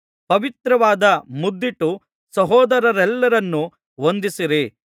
ಪವಿತ್ರವಾದ ಮುದ್ದಿಟ್ಟು ಸಹೋದರರೆಲ್ಲರನ್ನೂ ವಂದಿಸಿರಿ